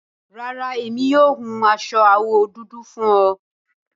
Rárá, emi yóò hún aṣọ awọ dúdú fún ọ